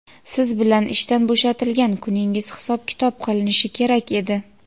siz bilan ishdan bo‘shatilgan kuningiz hisob-kitob qilinishi kerak edi.